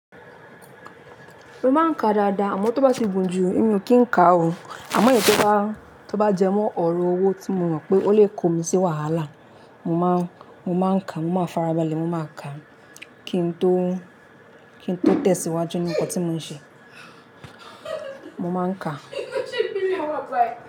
Mo máa ń ka dáadáa, àmọ́ tó bá ti gùn jù, èmi o kì n ka o. Àmọ́ èyí tó bá, tó bá jẹ́ mọ́ ọ̀rọ̀ owó tí mo mọ̀ pé ó lè kó mi sí wàhálà, mo máa, mo má ń ka, mo má farabalẹ̀, mo máa ń ka kí n tó, kí n tó tẹ̀síwájú ní nkan tí mò ń ṣe. Mo má ń ka.